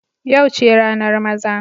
Yau ce ranar maza.